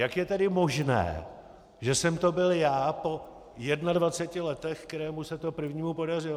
Jak je tedy možné, že jsem to byl já po 21 letech, kterému se to prvnímu podařilo?